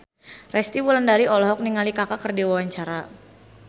Resty Wulandari olohok ningali Kaka keur diwawancara